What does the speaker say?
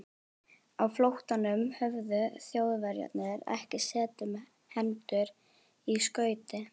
Á flóttanum höfðu Þjóðverjarnir ekki setið með hendur í skauti.